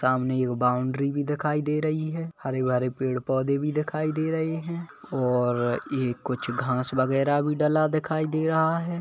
सामने यूं बाउंड्री भी दिखाई दे रही है हरे- भरे पेड़ -पौधे भी दिखाई दे रहे है और ये कुछ घास वगैरह भी डला दिखाई दे रहा हैं।